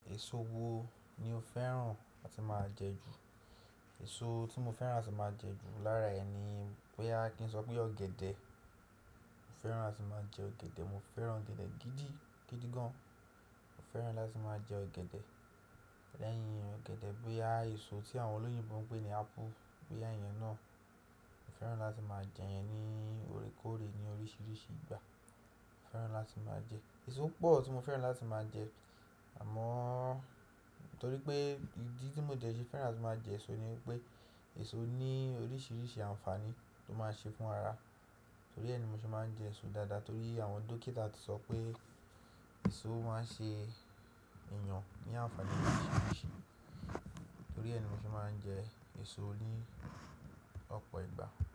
Èso wo ni o fẹ́ràn láti máa jẹ ju? Èso tí mo fẹ́ràn láti máa jẹ ju lára ẹ̀ ni péá, kí n sọ pé ọ̀gẹ̀dẹ̀. Mo fẹ́ràn láti máa jẹ ọ̀gẹ̀dẹ̀, mo fẹ́ràn ọ̀gẹ̀dẹ̀ gidi gan. Mo fẹ́ràn láti máa jẹ ọ̀gẹ̀dẹ̀. Lẹ́yìn ọ̀gẹ̀dẹ̀, bòyá èso tí àwọn olóyìnbo ń pè ní apple, bòyá ìyẹn náà. Mo fẹ́ràn láti máa jẹ ìyẹn ní órekóòrè, ní oríṣiríṣi ìgbà. Mo fẹ́ràn láti máa jẹ. Èso pọ̀ tí mo fẹ́ràn láti máa jẹ àmọ́ torí pé ìdí tí mo jẹ sẹ́ fẹ́ràn láti máa jẹ èso ni wípé èso ní oríṣiríṣi ànfàní tó máa ń ṣe fún ara. Torí ẹ ni mo ti máa ń jẹ èso dáadáa torí àwọn dókítà ti sọ pé èso máa ń ṣe ìyàn ní ànfàní oríṣiríṣi. Torí ẹ ni mo ti máa ń jẹ èso ní ọ̀pọ̀ ìgbà.